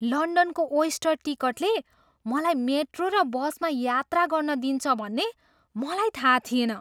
लन्डनको oyster टिकटले मलाई metro र बसमा यात्रा गर्न दिन्छ भन्ने मलाई थाहा थिएन।